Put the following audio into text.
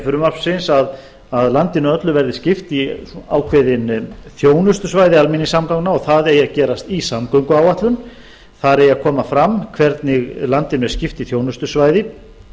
frumvarpsins að landinu öllu verði skipt í ákveðin þjónustusvæði almenningssamgangna og það eigi að gerast í samgönguáætlun þar eigi að koma fram hvernig landinu er skipt í þjónustusvæði